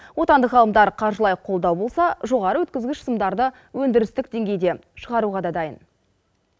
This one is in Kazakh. отандық ғалымдар қаржылай қолдау болса жоғары өткізгіш сымдарды өндірістік деңгейде шығаруға да дайын